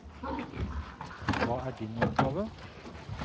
Hva er din oppgave?